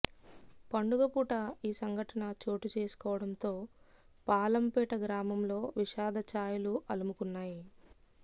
పండుగ పూట ఈ సంఘటన చోటుచేసుకోవడంతో పాలంపేట గ్రామంలో విషాధ చాయలు అలుముకున్నాయి